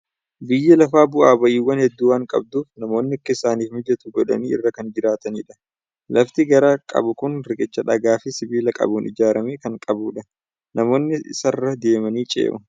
Biyyi lafaa bu'aa ba'iiwwan hedduu waan qabduuf namoonni akka isaaniif mijatu godhanii irra kan jiraatanidha. Lafti gaara qabu kun riqicha dhagaa fi sibiila qabuun ijaaramee jiru kan qabudha. Namoonni isarra deemanii ce'u.